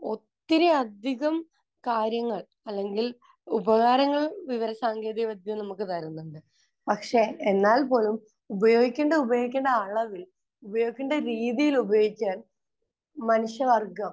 ഒത്തിരിയധികം കാര്യങ്ങൾ അല്ലെങ്കിൽ ഉപകാരങ്ങൾ വിവരസാങ്കേതികവിദ്യ നമുക്ക് തരുന്നുണ്ട്. പക്ഷെ എന്നാൽ പോലും ഉപയോഗിക്കേണ്ടത് ഉപയോഗിക്കേണ്ട അളവിൽ ഉപയോഗിക്കേണ്ട രീതിയിൽ ഉപയോഗിക്കാൻ മനുഷ്യവർഗം